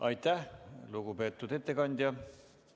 Aitäh, lugupeetud ettekandja!